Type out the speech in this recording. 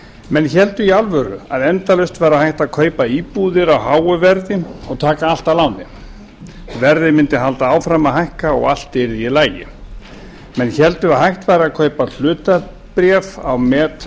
menn héldu í alvöru að endalaust væri hægt að kaupa íbúðir á háu verði og taka allt að láni verðið mundi halda áfram að hækka og allt yrði í lagi menn héldu að hægt væri að kaupa hlutabréf á